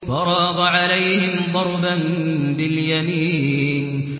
فَرَاغَ عَلَيْهِمْ ضَرْبًا بِالْيَمِينِ